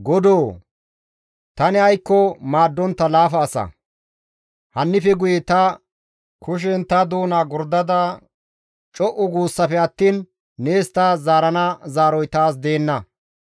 «Godoo! Tani aykko maaddontta laafa asa, hannife guye ta kushen ta doona gordada; co7u guussafe attiin nees ta zaarana zaaroy taas deenna.